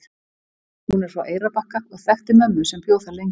Hún er frá Eyrarbakka og þekkti mömmu sem bjó þar lengi.